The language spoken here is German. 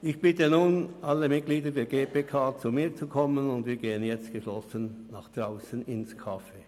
Ich bitte nun alle Mitglieder der GPK, zu mir zu kommen, und wir gehen jetzt geschlossen nach draussen ins Café.